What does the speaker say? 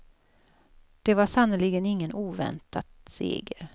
Det var sannerligen ingen oväntat seger.